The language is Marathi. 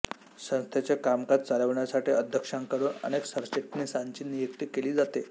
संस्थेचे कामकाज चालवण्यासाठी अध्यक्षांकडून अनेक सरचिटणीसांची नियुक्ती केली जाते